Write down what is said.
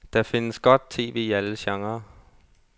Der findes godt TV i alle genrer.